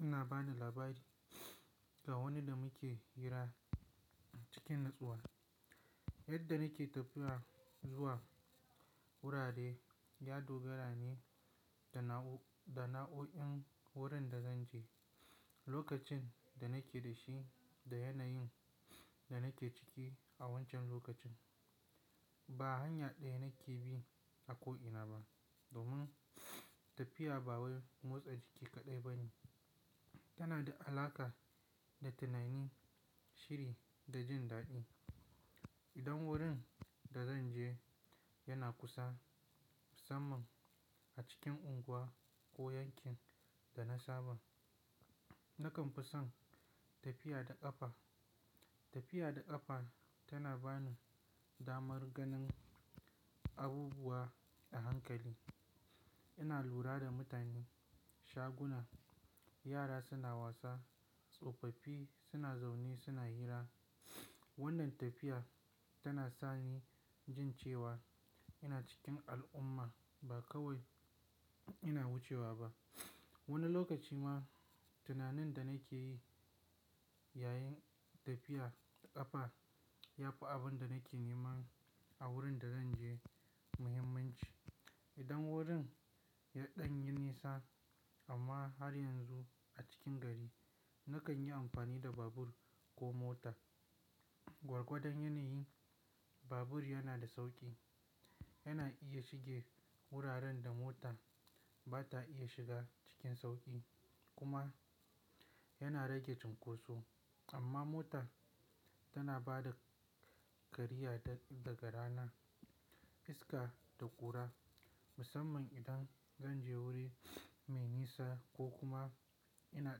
ina bani labari ga wanda muke hira cikin natsuwa. Yadda nake tafiya zuwa wurare ya dogara ne da na'u'in wurin da zanje, lokacin da nake da shi da yanayin da nake ciki a wancan lokacin. Ba hanya ɗaya nake bi a ko ina ba domin tafiya ba wai motsa jiki kaɗai ba ne. Tana da alaƙa da tunani, shiri da jin daɗi. Idan wurin da zanje yana kusa, musamman a cikin unguwa ko yankin da na saba, nakan fi son tafiya da ƙafa. Tafiya da ƙafa tana bani damar ganin abubuwa da hankali. Ina lura da mutane, shaguna, yara suna wasa, tsofaffi suna zaune suna hira. Wannan tafiya tana sa ni jin cewa ina cikin al'umma ba kawai ina wucewa ba. Wani lokaci ma tunanin da nake yi yayin tafiya da ƙafa ya fi abin da nake neman a wurin da zanje muhimmanci. Idan wajen yaɗan yi nisa amma har yanzu a cikin gari, nakan yi amfani da babur ko mota. Gwargwadon yanayi, babur yana da sauƙi. Yana iya shige wuraren da mota ba ta iya shiga cikin sauƙi kuma yana rage cunkoso. Amma mota tana ba da kariya daga rana iska da ƙura, musamman idan zanje wuri mai nisa ko kuma ina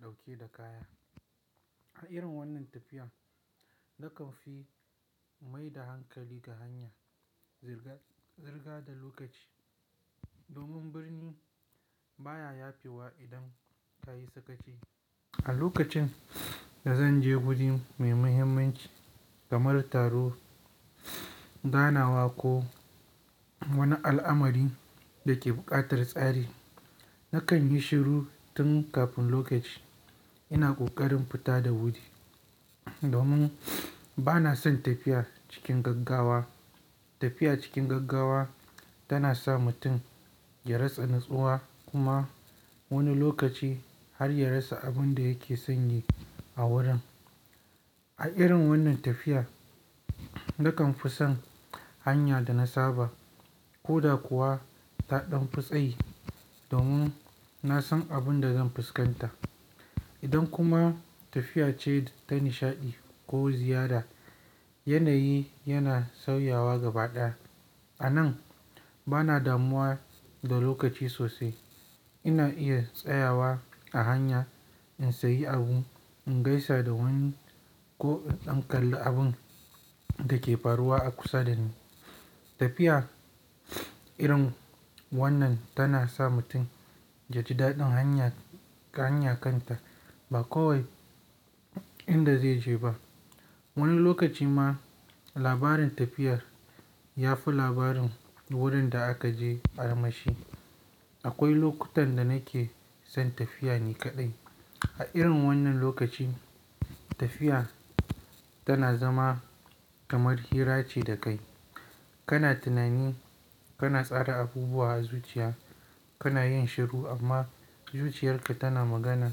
ɗauke da kaya. A irin wannan tafiyan nakan fi mai da hankali ga hanya, zirga zirga da lokaci domin birni baya yafewa idan kayi sakaci. A lokacin da zan je wuri mai muhimmanci kamar taro, ganawa ko wani al'amari da ke buƙatar tsari, nakan yi shiru tun kafin lokacin ina ƙoƙarin fita da wuri. Domin bana son tafiya cikin gaggawa. Tafiya cikin gaggawa tana sa mutum ya rasa natsuwa kuma wani lokaci har ya rasa abin da yake sanye a wurin. A irin wannan tafiya nakan fi son hanya da na saba ko da kuwa ta ɗan fi tsayi domin na san abin da zan fuskanta. Idan kuma tafiya ce ta nishaɗi ko ziyara, yanayi yana sauyawa gaba ɗaya. A nan bana damuwa da lokaci sosai. Ina iya tsayawa a hanya in sayi abu, in gaisa da wani ko in ɗan kalli abin da ke faruwa a kusa dani. Tafiya irin wannan tana sa mutum ya ji daɗin hanya-hanya kanta ba kawai inda zai je ba. Wani lokaci ma labarin tafiyar ya fi labarin wurin da aka je arma shi. Akwai lokutan da nake son tafiya ne kaɗai. A irin wannan lokaci tafiya tana zama kamar hira ce da kai. Kana tunani, kana tsara abubuwa a zuciya, kana yin shiru amma zuciyarka tana magana.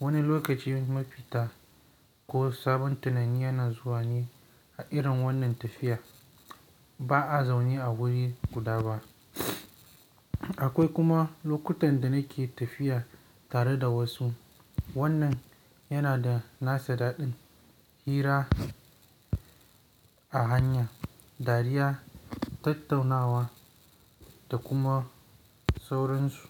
Wani lokaci mafita ko sabon tunani yana zuwa ne a irin wannan tafiya. Ba'a zaune a wuri guda ba. Akwai kuma lokutan da nake tafiya tare da wasu. Wannan yana da nasa daɗin. Hira a hanya, dariya, tattaunawa da kuma sauransu.